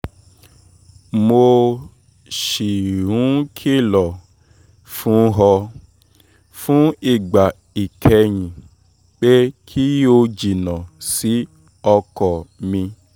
mo ṣì ń kìlọ̀ fún ọ fún ìgbà ìkẹyìn pé kí o jìnnà sí ọkọ mi